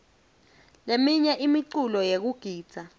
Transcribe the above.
leminye imiculo yekugidza